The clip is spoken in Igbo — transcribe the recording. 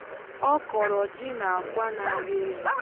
ọ kọ̀rọ̀ jị na àgwà nà ari elu